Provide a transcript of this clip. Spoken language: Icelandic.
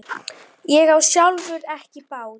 Ég á sjálfur ekki bát.